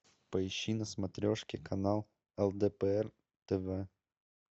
поищи на смотрешке канал лдпр тв